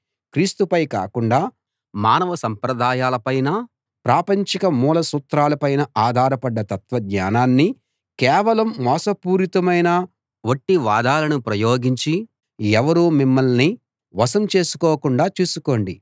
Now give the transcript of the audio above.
క్రీస్తుపై కాకుండా మానవ సంప్రదాయాలపైనా ప్రాపంచిక మూల సూత్రాలపైనా ఆధారపడ్డ తత్వజ్ఞానాన్నీ కేవలం మోసపూరితమైన వట్టి వాదాలనూ ప్రయోగించి ఎవరూ మిమ్మల్ని వశం చేసుకోకుండా చూసుకోండి